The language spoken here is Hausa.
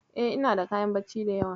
E, inada kayan bacci da yawa.